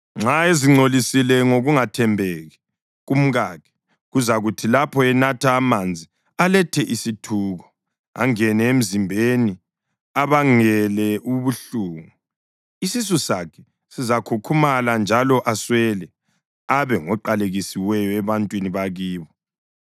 Nxa ezingcolisile ngokungathembeki kumkakhe, kuzakuthi lapho enatha amanzi aletha isithuko, angene emzimbeni abangele ubuhlungu; isisu sakhe sizakhukhumala njalo aswele, abe ngoqalekisiweyo ebantwini bakibo.